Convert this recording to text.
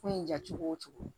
Ko in ja cogo o cogo